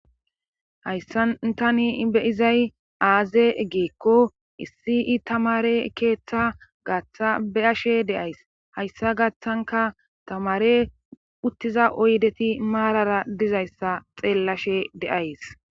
hayssatani beyizay aaze egeekko issi i tamare keeththa gaththa be7ashe deays hayssa gaththanka tamare uttiza oydeti maarara dizayssa xeellashe deays